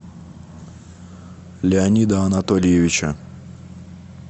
леонида анатольевича